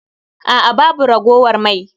A'a babu ragowar mai